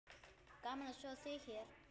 Gaman að sjá þig hér!